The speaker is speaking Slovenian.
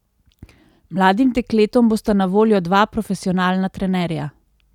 Mladim dekletom bosta na voljo dva profesionalna trenerja.